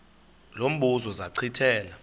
lo mbuzo zachithela